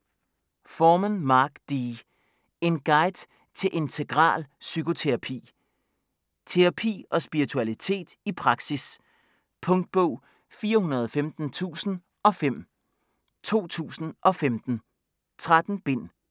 Forman, Mark D.: En guide til integral psykoterapi Terapi og spiritualitet i praksis. Punktbog 415005 2015. 13 bind.